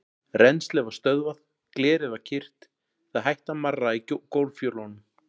Rennslið var stöðvað, glerið var kyrrt, það hætti að marra í gólffjölunum.